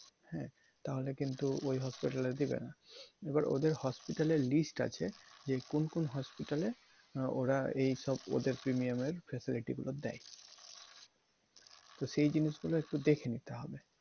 হ্যাঁ? তাহলে কিন্তু ওই hospital এ দিবে না এবার ওদের hospital এর list আছে যে কোন কোন hospital এ আহ ওরা এইসব ওদের premium এর facility গুলো দেয়। তো সেই জিনিস গুলো একটু দেখে নিতে হবে।